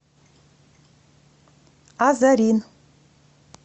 азарин